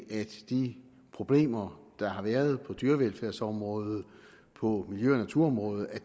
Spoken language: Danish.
at de problemer der har været på dyrevelfærdsområdet og på miljø og naturområdet er